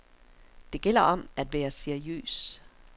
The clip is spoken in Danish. Det gælder om at være seriøs.